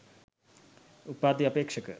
උපාධි අපේක්ෂක